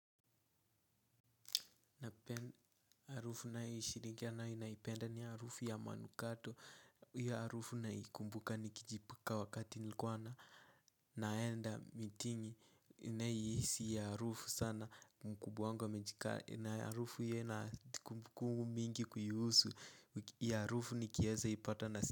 Na arufu naishirikiana naipenda ni arufu ya manukato hiyo arufu naikumbuka nikijipaka wakati nilikuwa na naenda mitini inahisi ya arufu sana mkubwa wangu amejikaa na arufu iyo inakumbukumbu mingi kuihusu iyo arufu nikieza ipata nasi.